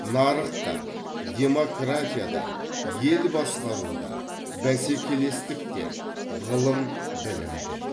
нарық та демократия да ел басқару да бәсекелестік те ғылым білім де